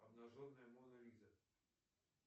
обнаженная мона лиза